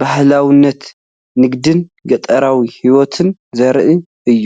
ባህላውነትን ንግድን ገጠራዊ ህይወትን ዘርኢ እዩ።